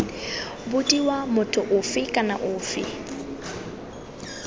bodiwa motho ofe kana ofe